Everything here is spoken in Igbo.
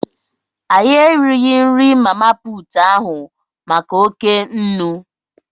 Anyị righị nri mama puutụ ahụ maka oké nnu.